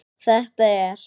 Þetta er.